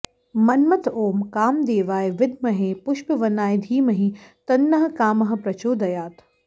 मन्मथ ॐ कामदेवाय विद्महे पुष्पवनाय धीमहि तन्नः कामः प्रचोदयात्